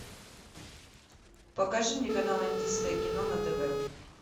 покажи мне канал индийское кино на тв